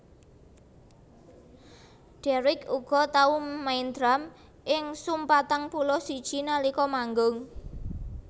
Deryck uga tau main drum ing Sum patang puluh siji nalika manggung